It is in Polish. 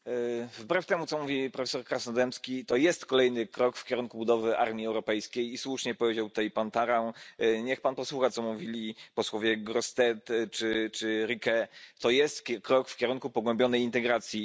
Panie Przewodniczący! Wbrew temu, co mówi profesor Krasnodębski, to jest kolejny krok w kierunku budowy armii europejskiej i słusznie powiedział tutaj pan Tarrand, niech pan posłucha, co mówili posłowie Grossetête czy Riquet, to jest krok w kierunku pogłębionej integracji.